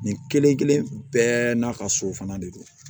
Nin kelen kelen bɛɛ n'a ka so fana de don